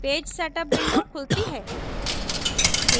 page setup window खुलती है